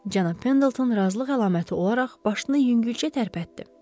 Cənab Pendelton razılıq əlaməti olaraq başını yüngülcə tərpətdi.